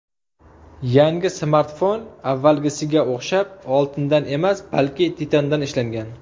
Yangi smartfon avvalgisiga o‘xshab oltindan emas, balki titandan ishlangan.